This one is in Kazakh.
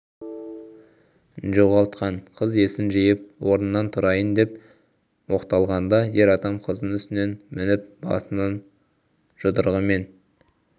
жоғалтқан қыз есін жиып орнынан тұрайын деп оқталғанда ер адам қыздың үстіне мініп басынан жұдырығымен